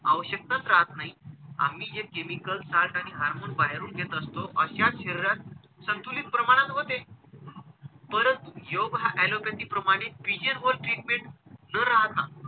आवश्यकताच राहत नाही आम्ही जे chemical side आणि hormone बाहेरून घेत असतो अश्या शरीरात संतुलित प्रमाणात होते. परंतु योग हा allopathy प्रमाणे vision व treatment न राहता,